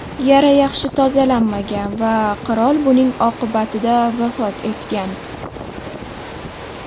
Yara yaxshi tozalanmagan va qirol buning oqibatida vafot etgan.